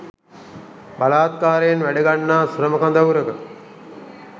බලහත්කාරයෙන් වැඩ ගන්නා ශ්‍රම කඳවුරක